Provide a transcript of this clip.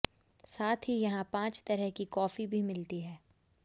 साथ ही यहां पांच तरह की कॉफी भी मिलती है